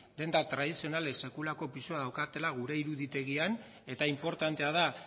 denda tradizionalek sekulako pisua daukatela gure iruditegian eta inportantea da